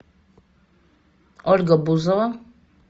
ольга бузова